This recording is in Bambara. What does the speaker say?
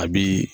A bi